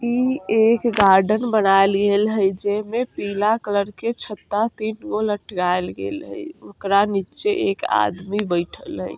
इ एक गार्डन बना ली हई जे में पीला कलर के छत्ता तीनगो लटकाइल गइल हई ओकरा नीचे एक आदमी बइठल हई।